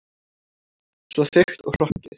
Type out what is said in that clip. Svo þykkt og hrokkið.